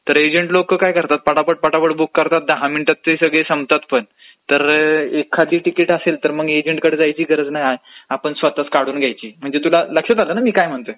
तर एजंट लोक काय करतात पटापट पटापट बुक करतात दहा मिनिटात ते संपतात पण. तर एखादी तिकीट असेल तर मग एजंटकडे जायची गरज नाही आपण स्वतः चं काढून घ्यायची म्हणजे तुला लक्षात आलं ना मी काय म्हणतोय.